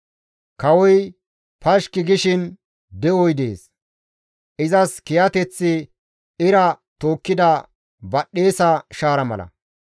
Kawoy pashki gishin de7oy dees; izas kiyateththi ira tookkida badhdhesa shaara mala.